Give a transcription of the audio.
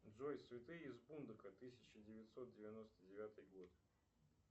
джой святые из бундока тысяча девятьсот девяносто девятый год